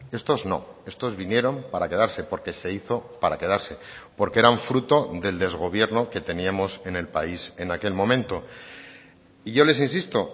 estos no estos vinieron para quedarse porque se hizo para quedarse porque eran fruto del desgobierno que teníamos en el país en aquel momento y yo les insisto